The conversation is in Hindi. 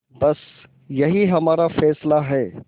बस यही हमारा फैसला है